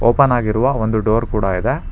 Open ಆಗಿರುವ ಒಂದು door ಕೂಡ ಇದೆ.